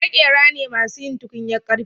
Maƙera ne masu yin tukunyar karfe